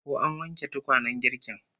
Ko an wanke tukwanen girkin?